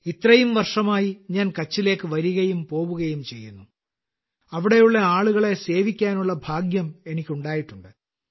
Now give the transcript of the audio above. ഇത്രയും വർഷമായി ഞാൻ കച്ചിലേക്ക് വരികയും പോവുകയും ചെയ്യുന്നു അവിടെയുള്ള ആളുകളെ സേവിക്കാനുള്ള ഭാഗ്യം എനിക്കുണ്ടായിട്ടുണ്ട്